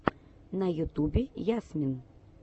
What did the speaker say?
на ютубе ясмин